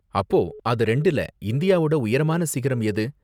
அப்போ அது ரெண்டுல இந்தியாவோட உயரமான சிகரம் எது?